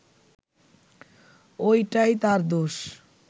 ওইটাই তার দোষ